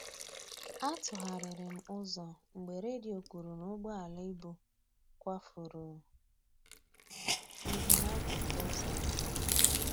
A tụgharịrị m ụzọ mgbe redio kwuru na ụgbọala ibu kwafuru ihe n'akụkụ ụzọ ahịa